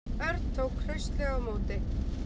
Örn tók hraustlega á móti.